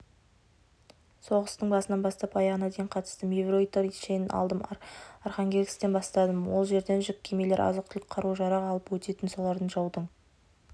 соғыстың басынан бастап аяғына дейін қатыстым ефрейтор шенін алдым архангельсктен бастадым ол жерден жүк кемелері азық-түлік қару-жарақ алып өтетін соларды жаудың